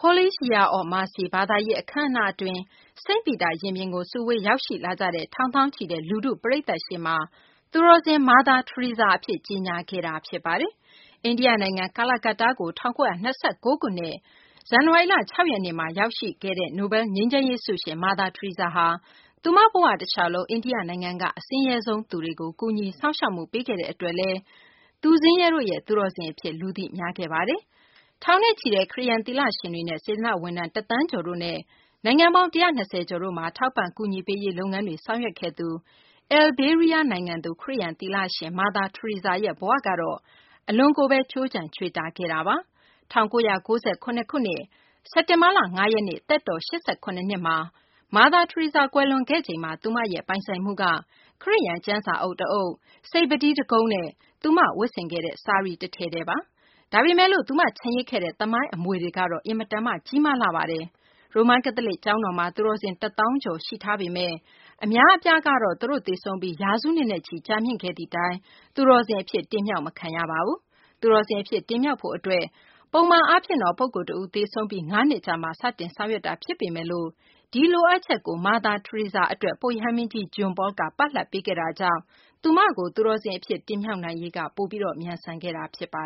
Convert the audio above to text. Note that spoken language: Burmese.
“Holy Year of Mercy” ဘာသာရေး အခမ်းအနား အတွင်း စိန့်ပီတာရင်ပြင်ကို စုဝေး ရောက်ရှိလာကြတဲ့ ထောင်သောင်းချီတဲ့ လူထုပရိသတ်ရှေ့မှာ သူတော်စင် မာသာ ထရီဆာအဖြစ် ကြေညာလိုက်တာဖြစ်ပါတယ်။ အိန္ဒိယနိုင်ငံ၊ ကာလာကတ္တားကို ၁၉၂၉ ခုနှစ် ဇန်နဝါရီလ ၆ ရက်နေ့မှာ ရောက်ရှိခဲ့တဲ့ နိုဘဲလ် ငြိမ်းချမ်းရေး ဆုရှင် မာသာ ထရီဆာဟာ သူမဘဝတလျှောက်လုံး အိန္ဒိယနိုင်ငံက အဆင်းရဲဆုံးသူတွေကို ကူညီစောင့်ရှောက်မှု ပေးခဲ့တဲ့အတွက်လည်း သူဆင်းရဲတို့ရဲ့ သူတော်စင်အဖြစ် လူသိများခဲ့တာပါ။ ထောင်နဲ့ချီတဲ့ ခရစ်ယာန်သီလရှင်တွေနဲ့ စေတနာ့ဝန်ထမ်း တသန်းကျော်တို့နဲ့ နိုင်ငံပေါင်း ၁၂၀ ကျော်မှာ ထောက်ပံ့ကူညီပေးရေးလုပ်ငန်းတွေ ဆောင်ရွက်ခဲ့သူ အယ်လ်ဘေးနီးယားနိုင်ငံသူ ခရစ်ယာန်သီလရှင် မာသာ ထရီဆာရဲ့ဘဝကတော့ အလွန်ကိုပဲ ခြိုးခြံချွေတာခဲ့တာပါ။ ၁၉၉၇ ခုနှစ် စက်တင်ဘာ ၅ ရက်နေ့ သက်တော် ၈၇ နှစ်မှာ မာသာ ထရီဆာ ကွယ်လွန်ခဲ့ချိန်မှာ သူ့ရဲ့ ပိုင်ဆိုင်မှုက ခရစ်ယာန် ကျမ်းစာအုပ်တအုပ်၊ စိတ်ပုတီးတကုံးနဲ့ သူဝတ်ခဲ့တဲ့ ဆာရီ တထည်တည်းပဲရှိပါတယ်။ ဒါပေမယ့်လို့ သူချန်ရစ်ခဲ့တဲ့ သမိုင်းအမွေကတော့ အင်မတန်မှ ကြီးမားလှပါတယ်။ ရိုမန်ကက်သလစ် ကျောင်းတော်မှာ သူတော်စင် ၁ သောင်းကျော် ရှိထားပေမယ့် အများအပြားကတော့ သူတို့ သေဆုံးပြီး ရာစုနှစ်နဲ့ချီကြာမြင့်ခဲ့သည့်တိုင် သူတော်စင်အဖြစ် တင်မြှောက်မခံရပါဘူး။ သူတော်စင်အဖြစ် တင်မြှောက်ဖို့အတွက် ပုံမှန်အားဖြင့် ပုဂ္ဂိုလ်တဦးသေဆုံးပြီး ၅ နှစ်ကြာမှ စတင်ဆောင်ရွက်တာဖြစ်ပေမယ့် ဒီလိုအပ်ချက်ကို မာသာထရီဇာအတွက် ပုပ်ရဟန်းမင်းကြီး John Paul က ပလပ်ပေးခဲ့တာကြောင့် သူ့ကို သူတော်စင်အဖြစ် တင်မြှောက်နိုင်ရေး ပိုပြီး မြန်ဆန်ခဲ့တာဖြစ်ပါ